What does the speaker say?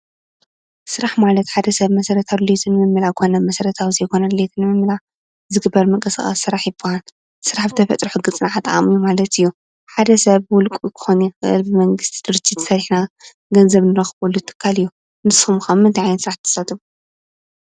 ስራሕ ማለት ሓደ ሰብ መሰረታዊ ድሌቱ ንምምላእ ኮነ መሰርታዊ ንዘይኮነ ድሌት ንዘይምምላእ ዝግበር ምንቅስቃስ ስራሕ ይብሃል። ስራሕ ብተፈጥሮ ሕጊ ፅንዓት ዓቅሚ ማለት እዩ። ሓደ ሰብ ብውልቅኡ ክኮን ይክእል ብመንግስቲ ደረጅት ሰርሕና ገንዘብ እንረክበሉ ትካል እዩ። ንስኩም ከ ኣብ ምንታይ ዓይነት ስራሕ ትሳተፉ?